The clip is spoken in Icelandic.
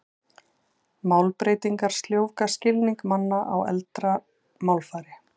Málbreytingar sljóvga skilning manna á eldra málfari.